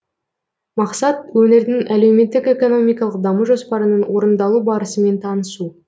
мақсат өңірдің әлеуметтік экономикалық даму жоспарының орындалу барысымен танысу